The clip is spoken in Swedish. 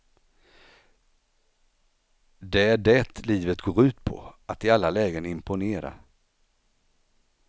Det är det livet går ut på, att i alla lägen imponera.